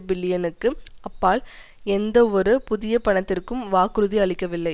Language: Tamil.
பில்லியனுக்கு அப்பால் எந்தவொரு புதிய பணத்திற்கும் வாக்குறுதி அளிக்கவில்லை